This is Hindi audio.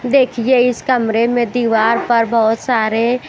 देखिए इस कमरे में दीवार पर बहुत सारे--